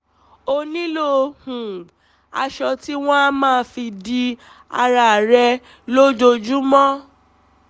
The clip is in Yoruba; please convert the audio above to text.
ó nílò um aṣọ tí wọ́n á máa fi di ara rẹ̀ lójoojúmọ́